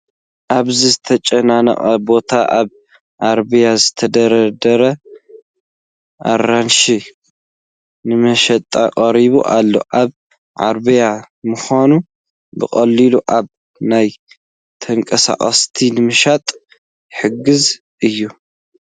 ኣብዚ ዝተጨናነቐ ቦታ ኣብ ዓረብያ ዝተደርደረ ኣራንሺ ንመሸጣ ቀሪቡ ኣሎ፡፡ ኣብ ዓረብያ ምዃኑ ብቐሊሉ ካብ ናብ ተንቀሳቒስካ ንምሻጥ ይሕግዝ እዩ፡፡